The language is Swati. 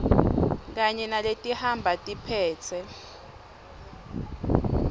kanye naletihamba tiphetse